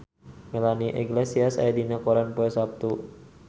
Melanie Iglesias aya dina koran poe Saptu